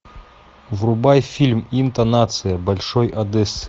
врубай фильм интонация большой одессы